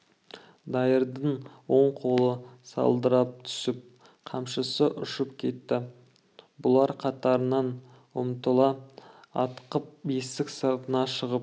дайырдың оң қолы салдырап түсіп қамшысы ұшып кетті бұлар қатарынан ұмтыла атқып есік сыртына шығып